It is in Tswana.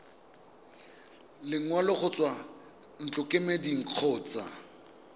lekwalo go tswa ntlokemeding kgotsa